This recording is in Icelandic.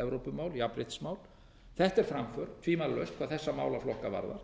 evrópumál jafnréttismál þetta er framför tvímælalaust hvað þessa málaflokka varðar